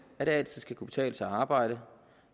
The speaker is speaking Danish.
at det altid skal kunne betale sig at arbejde